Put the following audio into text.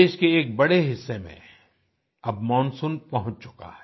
देश के एक बड़े हिस्से में अब मानसून पहुँच चुका है